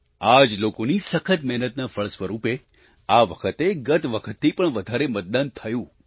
આ જ લોકોની સખત મહેનતના ફળ સ્વરૂપે આ વખતે ગત વખતથી પણ વધારે મતદાન થયું